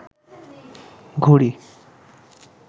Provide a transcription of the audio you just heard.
ঘুড়ি